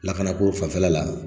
Lakana ko fanfɛla la